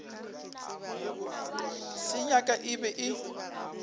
se nyaka e be e